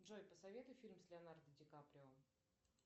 джой посоветуй фильм с леонардо ди каприо